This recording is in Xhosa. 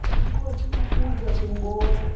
inkosi ukuza kumbona